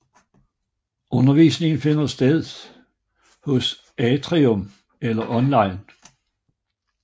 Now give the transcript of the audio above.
Undervisningen finder sted hos Atrium eller online